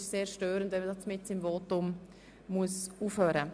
Es ist sehr störend, wenn man mitten im Votum unterbrochen wird.